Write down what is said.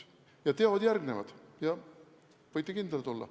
Ja teod järgnevad, võite kindlad olla.